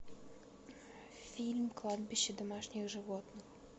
фильм кладбище домашних животных